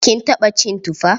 Kin taɓa cin tufa?